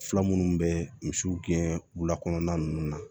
Fila minnu bɛ misiw gɛn wula kɔnɔna ninnu na